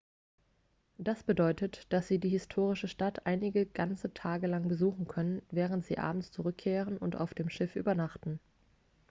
das bedeutet dass sie die historische stadt einige ganze tage lang besuchen können während sie abends zurückkehren und auf dem schiff übernachten